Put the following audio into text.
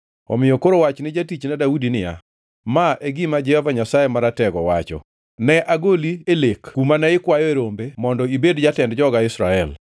“Omiyo koro wach ni jatichna Daudi niya, ‘Ma e gima Jehova Nyasaye Maratego wacho kama: Ne agoli e lek kuma ne ikwayoe rombe mondo ibed jatend joga Israel.